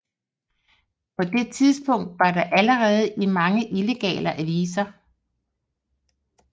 På det tidspunkt var der allerede mange illegale aviser